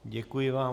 Děkuji vám.